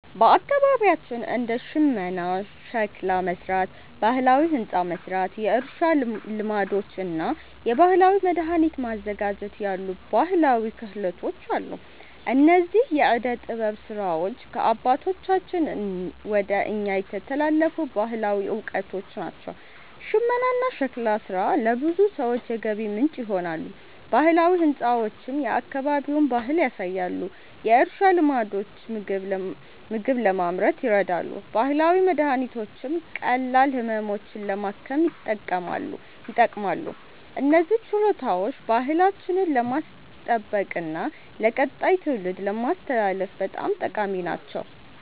በአካባቢያችን እንደ ሽመና፣ ሸክላ መሥራት፣ ባህላዊ ሕንፃ መሥራት፣ የእርሻ ልማዶች እና የባህላዊ መድኃኒት ማዘጋጀት ያሉ ባህላዊ ክህሎቶች አሉ። እነዚህ የዕደ ጥበብ ሥራዎች ከአባቶቻችን ወደ እኛ የተላለፉ ባህላዊ እውቀቶች ናቸው። ሽመናና ሸክላ ሥራ ለብዙ ሰዎች የገቢ ምንጭ ይሆናሉ፣ ባህላዊ ሕንፃዎችም የአካባቢውን ባህል ያሳያሉ። የእርሻ ልማዶች ምግብ ለማምረት ይረዳሉ፣ ባህላዊ መድኃኒቶችም ቀላል ህመሞችን ለማከም ይጠቅማሉ። እነዚህ ችሎታዎች ባህላችንን ለማስጠበቅና ለቀጣይ ትውልድ ለማስተላለፍ በጣም ጠቃሚ ናቸው።